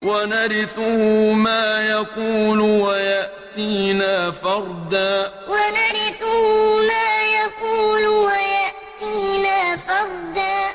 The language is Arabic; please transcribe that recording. وَنَرِثُهُ مَا يَقُولُ وَيَأْتِينَا فَرْدًا وَنَرِثُهُ مَا يَقُولُ وَيَأْتِينَا فَرْدًا